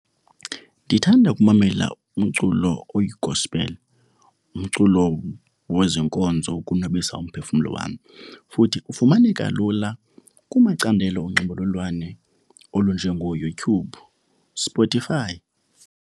Ndithanda ukumamela umculo oyi-gospel, umculo wezenkonzo ukonwabisa umphefumlo wam. Futhi ufumaneka lula kumacandelo onxibelelwano olunjengooYouTube, Spotify.